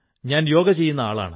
ഞാൻ യോഗ ചെയ്യുന്ന ആളാണ്